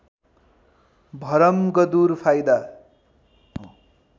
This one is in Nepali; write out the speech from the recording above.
भरमगदुर फाइदा